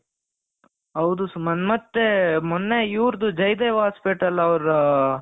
ಹೌದು ಸುಮಂತ್ ಮತ್ತೆ ಮೊನ್ನೆ ಇವರದು ಜೈ ದೇವ್ hospital ಅವರು